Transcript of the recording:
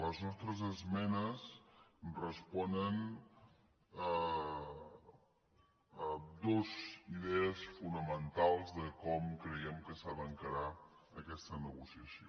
les nostres esmenes responen a dues idees fonamentals de com creiem que s’ha d’encarar aquesta negociació